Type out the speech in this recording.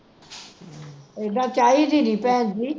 ਐਦਾ ਚਾਹੀਦੀ ਨੀ, ਭੈਣਜੀ